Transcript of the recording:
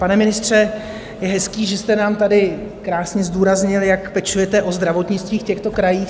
Pane ministře, je hezké, že jste nám tady krásně zdůraznil, jak pečujete o zdravotnictví v těchto krajích.